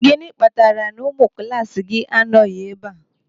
Gịnị kpatara na ụmụ klaasị gị anọghị ebe a?